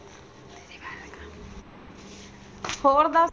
ਹੋਰ ਦੱਸ?